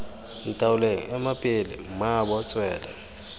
ntaoleng ema pele mmaabo tswela